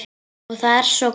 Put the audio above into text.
Og það er svo gott.